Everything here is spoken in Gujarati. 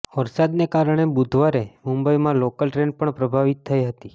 વરસાદને કારણે બુધવારે મુંબઈમાં લોકલ ટ્રેન પણ પ્રભાવિત થઈ હતી